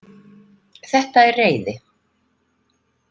Þetta er reiði.